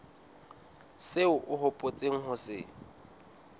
seo o hopotseng ho se